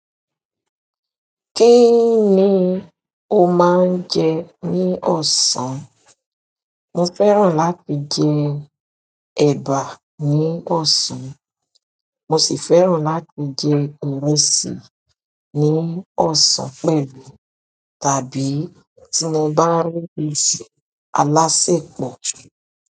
Kí ni o máa ń jẹ ní ọ̀sán? Mo fẹ́ràn láti jẹ ẹ̀bà ní ọ̀sán, mo sì fẹ́ràn láti jẹ ìrẹsì ní ọ̀sán pẹ̀lú tàbí tí mo bá rí ìrẹsì àlàsèpọ̀.